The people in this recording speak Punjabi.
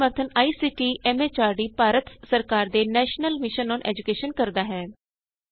ਇਸ ਦਾ ਸਮਰੱਥਨ ਆਈਸੀਟੀ ਐਮ ਐਚਆਰਡੀ ਭਾਰਤ ਸਰਕਾਰ ਦੇ ਨੈਸ਼ਨਲ ਮਿਸ਼ਨ ਅੋਨ ਏਜੂਕੈਸ਼ਨ ਕਰਦੀ ਹੈ